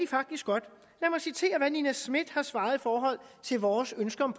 faktisk godt lad mig citere hvad nina smith har svaret i forhold til vores ønsker om